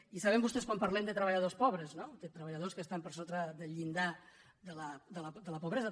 i saben vostès quan parlem de treballadors po·bres no de treballadors que estan per sota del llindar de la pobresa